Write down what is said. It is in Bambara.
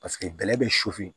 Paseke bɛlɛ bɛ sufɛ